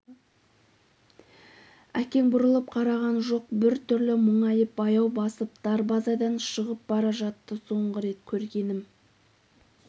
әкең бұрылып қараған жоқ бір түрлі мұңайып баяу басып дарбазадан шығып бара жатты соңғы рет көргенім